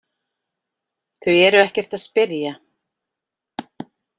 Þau eru ekkert að spyrja